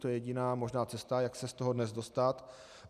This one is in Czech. To je jediná možná cesta, jak se z toho dnes dostat.